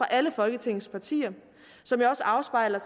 alle folketingets partier som jo også afspejler